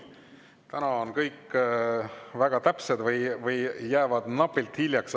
Täna on kõik väga täpsed või jäävad napilt hiljaks.